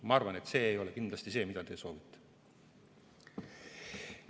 Ma arvan, et see ei ole kindlasti see, mida te soovite.